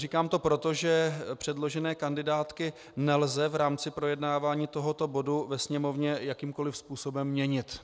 Říkám to proto, že předložené kandidátky nelze v rámci projednávání tohoto bodu ve Sněmovně jakýmkoli způsobem měnit.